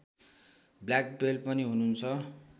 black belt पनि हुनुहुन्छ